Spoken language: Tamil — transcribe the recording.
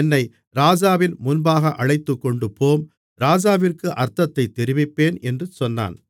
என்னை ராஜாவின் முன்பாக அழைத்துக்கொண்டுபோம் ராஜாவிற்கு அர்த்தத்தைத் தெரிவிப்பேன் என்று சொன்னான்